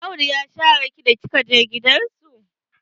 Audu ya share ki da kika je gidan su?